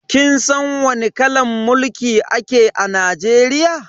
Kin san wani kalan mulki ake a Najeriya?